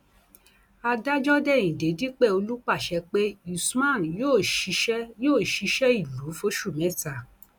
adájọ déhìndé dípẹọlù pàṣẹ pé usman yóò ṣiṣẹ yóò ṣiṣẹ ìlú fóṣù mẹta